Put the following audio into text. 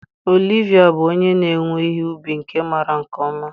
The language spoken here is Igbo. Olivia bụ onye na-ewe ihe ubi nke maara nke ọma.